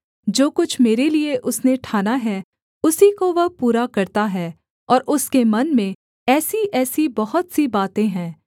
जो कुछ मेरे लिये उसने ठाना है उसी को वह पूरा करता है और उसके मन में ऐसीऐसी बहुत सी बातें हैं